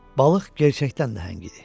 Balıq gerçəkdən nəhəng idi.